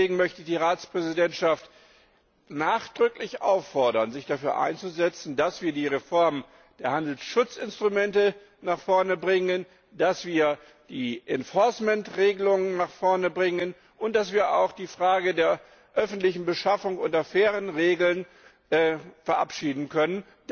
Deswegen möchte ich die Ratspräsidentschaft nachdrücklich auffordern, sich dafür einzusetzen, dass wir die Reform der Handelsschutzinstrumente nach vorne bringen, dass wir die Regelungen nach vorne bringen und dass wir auch die Frage der öffentlichen Beschaffung nach fairen Regeln verabschieden können.